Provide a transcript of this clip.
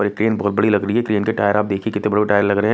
और ये ट्रेन बहोत बड़ी लग रही है ट्रेन के टायर आप देखिए कितने बड़े बड़े लग रहे है।